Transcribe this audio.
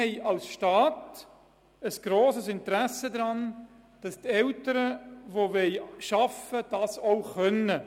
Der Staat hat ein grosses Interesse daran, den Eltern die Erwerbsarbeit zu ermöglichen.